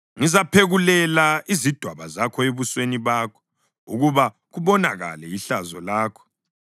Ngizaphekulela izidwaba zakho ebusweni bakho ukuba kubonakale ihlazo lakho,